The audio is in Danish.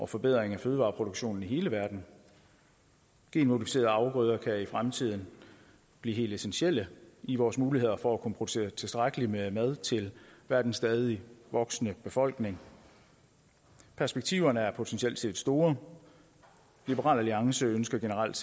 forbedring af fødevareproduktionen i hele verden genmodificerede afgrøder kan i fremtiden blive helt essentielle i vores muligheder for at kunne producere tilstrækkelig med mad til verdens stadig voksende befolkning perspektiverne er potentielt store liberal alliance ønsker generelt